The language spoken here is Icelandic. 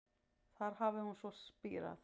Þar hafi hún svo spírað